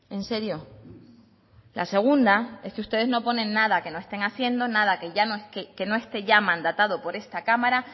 en serio la segunda es que ustedes no ponen nada que no estén haciendo nada que ya esté mandatado por esta cámara